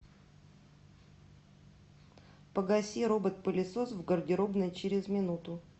погаси робот пылесос в гардеробной через минуту